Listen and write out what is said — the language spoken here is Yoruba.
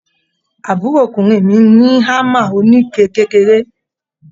Àbúròkùnrin mi ní hámà oníke kékeré.